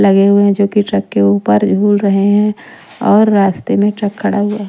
लगे हुए हैं जो कि ट्रक के ऊपर झूल रहे हैं और रास्ते में ट्रक खड़ा हुआ है।